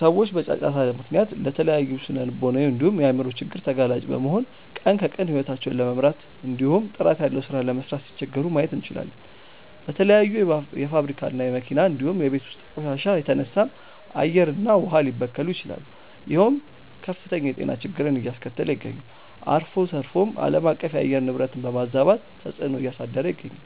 ሰዎች በጫጫታ ምክንያት ለተለያዩ ስነልቦናዊ እንዲሁም የአይምሮ ችግር ተጋላጭ በመሆን ቀን ከቀን ሂወታቸውን ለመምራት እንዲሁም ጥራት ያለው ሥራ ለመስራት ሲቸገሩ ማየት እንችላለን። በተለያዩ የፋብሪካ እና የመኪና እንዲሁም የቤት ውስጥ ቆሻሻ የተነሳም አየር እና ውሃ ሊበከሉ ይችላሉ ይሄውም ከፍተኛ የጤና ችግርን አያስከተለ ይገኛል። አልፎ ተርፎም አለማቀፍ የአየር ንብረትን በማዛባት ተፅዕኖ እያሳደረ ይገኛል።